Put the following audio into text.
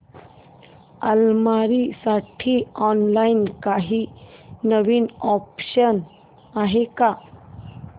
अलमारी साठी ऑनलाइन काही नवीन ऑप्शन्स आहेत का